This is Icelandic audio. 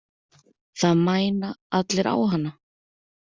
Það mæna allir á hana.